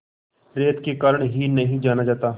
रेत के कारण ही नहीं जाना जाता